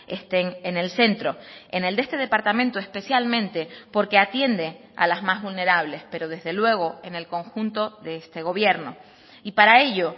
estén en el centro en el de este departamento especialmente porque atiende a las más vulnerables pero desde luego en el conjunto de este gobierno y para ello